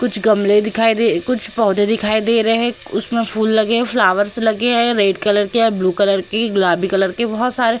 कुछ गमले दिखाई दे कुछ पौधे दिखाई दे रहे हैं। उसमे फूल लगे हैं फ्लावर्स लगे हैं रेड कलर के ब्लू कलर के गुलाबी कलर के बाहोत सारे --